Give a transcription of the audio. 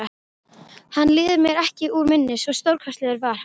Hann líður mér ekki úr minni, svo stórkostlegur var hann.